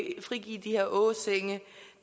frigive de her åsenge